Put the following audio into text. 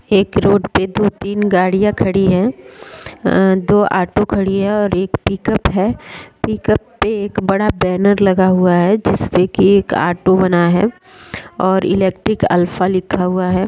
एक रोड पर दो-तीन गाड़ियां खड़ी है दो आटो खड़ी है और एक पिकअप है पिकअप पे एक बड़ा बैनर लगा हुआ है जिसपे की एक आटो बना हुआ है और इलेक्ट्रिक अल्फा लिखा हुआ हैं।